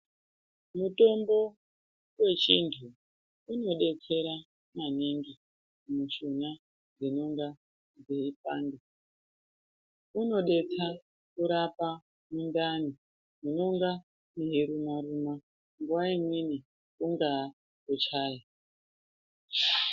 Mutombo wechianthu unodetsera maningi mushuna dzinenge dzeipanda. Unodetsa kurapa mundani munonga meiruma-ruma ,nguwa imweni kungaa kuchaya.